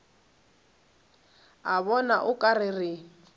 a bona o ka re